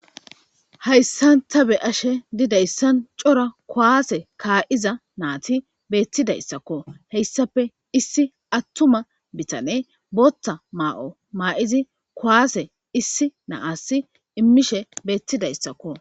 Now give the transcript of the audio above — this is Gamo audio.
Hayssan ta be'ashe diizaysan coora kuwase kaiiza nayti bettidaysako hessappe issi attuma biitaney booththa mayo maidi kuwasse issi na'as immishe bettidayssako.